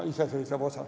Iseseisev osa.